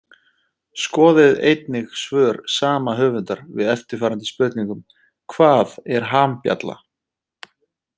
Skoðið einnig svör sama höfundar við eftirfarandi spurningum Hvað er hambjalla?